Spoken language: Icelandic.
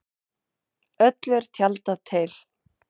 Öllu er tjaldað til.